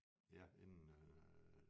Ja inden øh